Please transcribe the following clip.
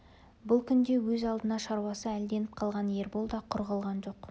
бұл күнде өз алдына шаруасы әлденіп қалған ербол да құр қалған жоқ